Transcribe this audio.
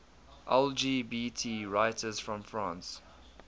lgbt writers from france